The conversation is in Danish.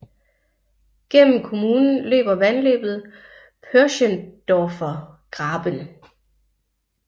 Gennem kommunen løber vandløbet Pöschendorfer Graben